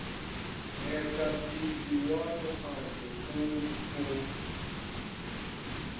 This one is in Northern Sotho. moetapele wa mokgahlo o o